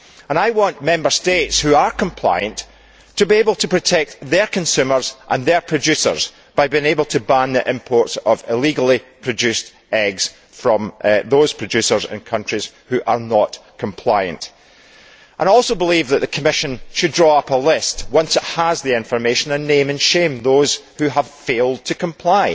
I want Member States who are compliant to be able to protect their consumers and their producers by being able to ban imports of illegally produced eggs from those producers and countries which are not compliant. I also believe that the Commission should draw up a list, once it has the information, and name and shame those who have failed to comply.